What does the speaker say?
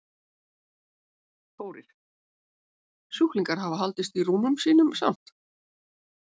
Þórir: Sjúklingar hafa haldist í rúmum sínum samt?